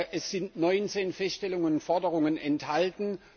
Es sind 19 Feststellungen und Forderungen enthalten.